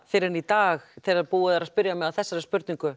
fyrr en í dag þegar búið er að spyrja mig að þessari spurningu